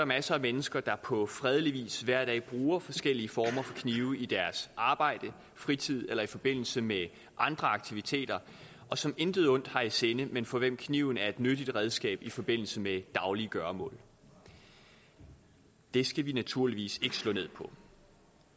masser af mennesker der på fredelig vis hver dag bruger forskellige former for knive i deres arbejde fritid eller i forbindelse med andre aktiviteter og som intet ondt har i sinde men for hvem kniven er et nyttigt redskab i forbindelse med daglige gøremål det skal vi naturligvis ikke slå ned på